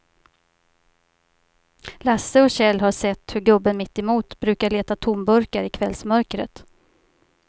Lasse och Kjell har sett hur gubben mittemot brukar leta tomburkar i kvällsmörkret.